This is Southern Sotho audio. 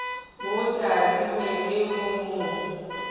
mo tadime le ho mo